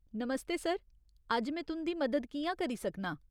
नमस्ते, sir. अज्ज में तुं'दी मदद कि'यां करी सकनां?